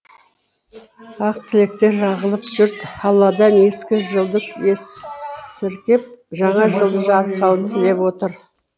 ақ тілектер ағылып жұрт алладан ескі жылды есіркеп жаңа жылды жарылқауын тілеп отыр